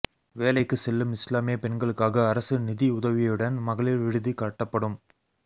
வேலைக்கு செல்லும் இஸ்லாமிய பெண்களுக்காக அரசு நிதியுதவியுடன் மகளிர் விடுதி கட்டப்படும்